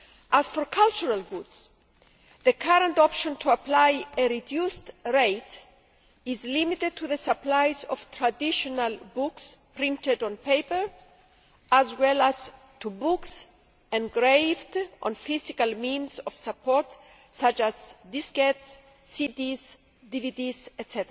As for cultural goods, the current option to apply a reduced rate is limited to the supplies of traditional books printed on paper, as well as to books engraved on physical means of support such as diskettes, CDs, DVDs, etc.